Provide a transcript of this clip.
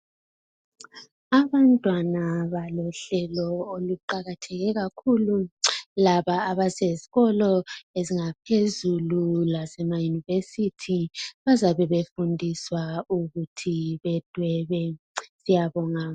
Abantwana balohlelo oluqalatheke kakhulu abasezikolo zaphezulu lasemayunivesithi bazabe befundiswa ukuthi bedwebe siyabonga